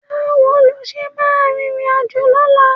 Báwo ni o ṣe máa rìnrìnàjò lọ́la?